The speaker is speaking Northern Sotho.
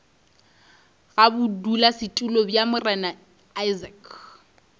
ga bodulasetulo bja morena isaacs